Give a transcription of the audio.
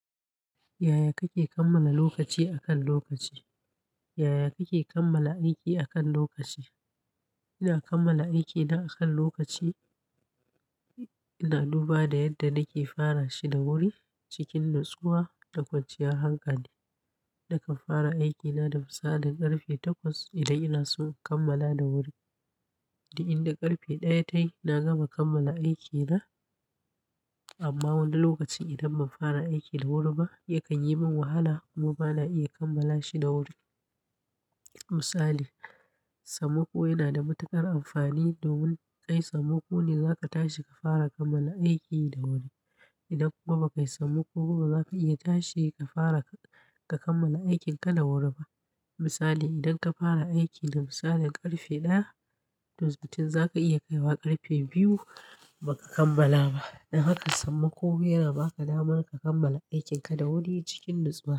Yaya kake kammala lokaci akan lokaci? Yaya kake kammala aiki akan lokaci? Ina kammala aikina akan lokaci ina duba da yadda nake fara shi da wuri cikin natsuwa da kwanciyar hankali. Nakan fara aikina da misalin karfe takwas idan ina so in kammala da wuri. Da inda karfe ɗaya tayi na gama kammala aikina amma wani lokacin idan ban fara aiki da wuri ba yakan yi min wahala kuma bana iya kammala shi da wuri. Misali, sammako yana da matuƙar amfani domin kai sammako ne za ka tashi ka fara ka kammala aiki da wuri. Idan kuma ba kai sammako kuma ba za ka iya tashi ka fara ka kammala aikinka da wuri ba. Misali, idan ka fara aiki da misalin karfe ɗaya, to zaton za ka iya kaiwa karfe biyu ba ka kammala ba. Don haka sammako yana ba ka damar ka kammala aikin ka da wuri cikin nitsuwa.